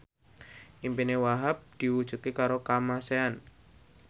impine Wahhab diwujudke karo Kamasean